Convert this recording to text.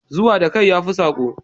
Zuwa da kai yafi sako